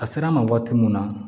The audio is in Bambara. A sera an ma waati mun na